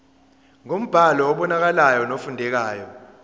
ngombhalo obonakalayo nofundekayo